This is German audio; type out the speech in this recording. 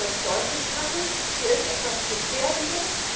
Wie kann man deutlich machen Hier ist etwas Gefährdendes.